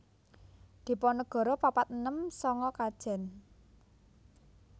Diponegoro papat enem sanga Kajen